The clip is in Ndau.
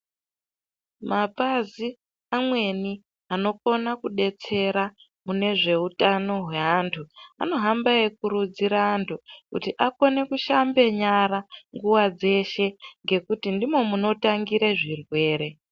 Mapazi amweni anokona kudetsera munezveutano zveantu vanohamba veikurudzira antu kuti akone kushambe nyara nguwa dzeshe ngekuti ndimo munotangira zvirwere.